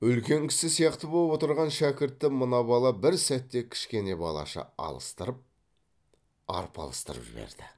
үлкен кісі сияқты боп отырған шәкіртті мына бала бір сәтте кішкене балаша алыстырып арпалыстырып жіберді